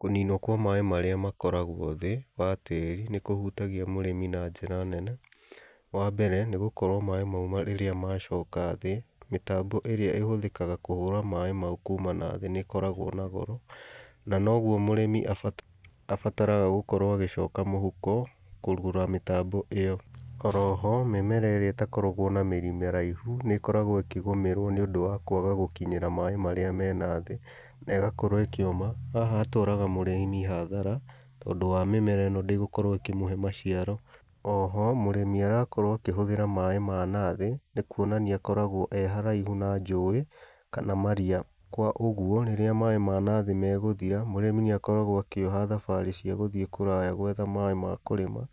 Kũninwo kwa maaĩ marĩa makoragwo thĩĩ wa tĩĩri nĩ kũhutagia mũrĩmi na njĩra nene. Wa mbere nĩ gũkorwo maaĩ mau rĩrĩa macoka thĩĩ, mĩtambo ĩrĩa ĩhũthĩkaga kũhũra maaĩ mau kuuma na thĩĩ nĩ ĩkoragwo na goro, na noguo mũrĩmi abataraga gũkorwo agĩcoka mũhũko kũgũra mĩtambo ĩyo. O roho, mĩmera ĩrĩa ĩtakoragwo na mĩrii mĩraihu nĩ ĩkoragwo ĩkĩgũmĩrwo nĩ ũndũ wa kwaga gũkinyĩra maaĩ marĩa me nathĩĩ, na ĩgakorwo ĩkĩũma. Haha hatwaraga mũrĩmi hadhara, tondũ wa mĩmera ĩno ndĩgũkorwo ĩkĩmũhe maciaro. Oho mũrĩmi arakorwo akĩhũthĩra maaĩ ma nathĩĩ, nĩ kuonania akoragwo e haraihu na njũĩ, kana maria. Kwa ũguo rĩrĩa maaĩ ma nathĩĩ megũthira mũrĩmi nĩ akoragwo akĩoha thabarĩ cia gũthiĩ kũraya gwetha maaĩ ma kũrĩma.